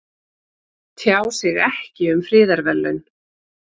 Tjá sig ekki um friðarverðlaun